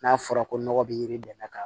N'a fɔra ko nɔgɔ bi yiri dɛn ka